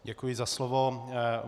Děkuji za slovo.